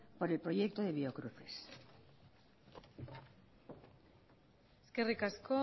por el proyecto de biocruces eskerrik asko